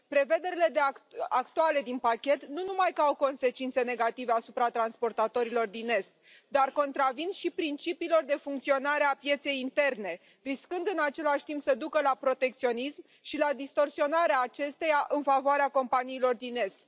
Prevederile actuale din pachet nu numai că au consecințe negative asupra transportatorilor din est, dar contravin și principiilor de funcționare a pieței interne, riscând, în același timp, să ducă la protecționism și la distorsionarea acesteia în favoarea companiilor din est.